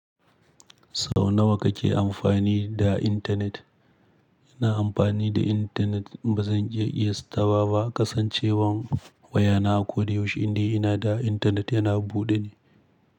Sau nawa kake amfani da intanet? Ina amfani da intanet ba zan iya iya taba ba, kasancewar wayana a koyaushe inda ina da intanet yana buɗe ne.